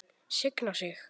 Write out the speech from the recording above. Signa sig?